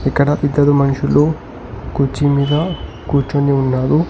ఇక్కడ ఇద్దరు మనుషులు కూర్చి మీద కూర్చొని ఉన్నారు.